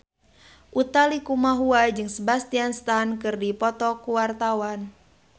Utha Likumahua jeung Sebastian Stan keur dipoto ku wartawan